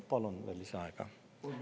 Kolm minutit lisaaega, palun!